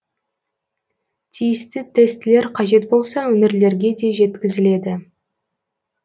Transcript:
тиісті тестілер қажет болса өңірлерге де жеткізіледі